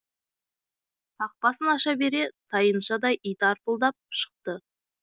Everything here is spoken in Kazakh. қақпасын аша бере тайыншадай ит арпылдап шықты